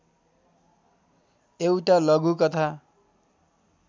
एउटा लघुकथा